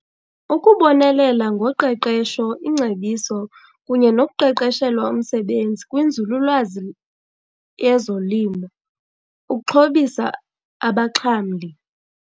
Ukubonelela ngoqeqesho, ingcebiso kunye nokuqeqeshelwa umsebenzi kwinzululwazi yezolimo ukuxhobisa abaxhamli.